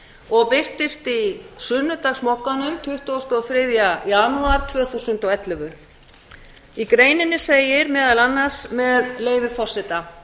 og birtist í sunnudagsmogganum tuttugasta og þriðja janúar tvö þúsund og ellefu í greininni segir meðal annars með leyfi forseta